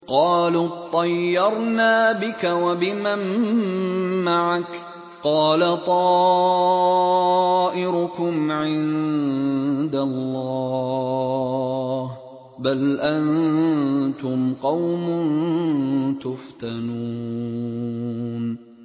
قَالُوا اطَّيَّرْنَا بِكَ وَبِمَن مَّعَكَ ۚ قَالَ طَائِرُكُمْ عِندَ اللَّهِ ۖ بَلْ أَنتُمْ قَوْمٌ تُفْتَنُونَ